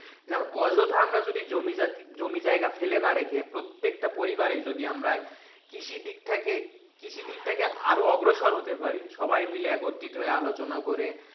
অযথা আমরা যদি জমি জাতি জমি জায়গা ফেলে নাকি রেখে প্রত্যেকটা পরিবারে যদি আমরা কৃষিবিদটাকে, কৃষিবিদটাকে আরো অগ্রসর হতে পারি সবাই মিলে একত্রিত হয়ে আলোচনা করে,